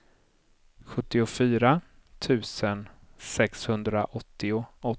sjuttiofyra tusen sexhundraåttioåtta